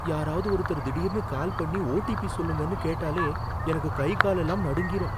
யாராவது ஒருத்தர் திடீர்னு கால் பண்ணி ஓடிபி சொல்லுங்கன்னு கேட்டாலே எனக்கு கை காலெல்லாம் நடுங்கிரும்.